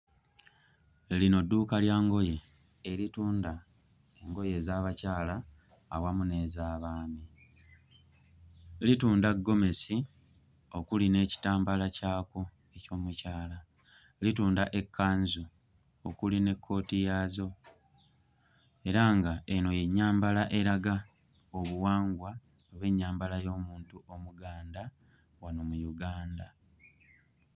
Eh lino dduuka lya ngoye eritunda engoye ez'abakyala awamu n'ez'abaami. Litunda ggomesi okuli n'ekitambaala kyakwo eky'omukyala. Litunda ekkanzu okuli n'ekkooti yaazo era nga eno y'ennyambala eraga obuwangwa oba ennyambala y'omuntu Omuganda wano mu Uganda.